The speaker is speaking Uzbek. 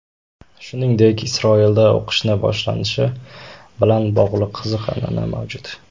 Shuningdek, Isroilda o‘qishni boshlanishi bilan bog‘liq qiziq an’ana mavjud.